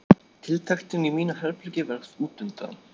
Tiltektin í mínu herbergi varð útundan.